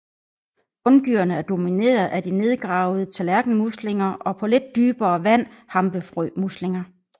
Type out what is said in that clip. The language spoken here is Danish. Bunddyrene er domineret af de nedgravede tallerkenmuslinger og på lidt dybere vand hampefrømuslinger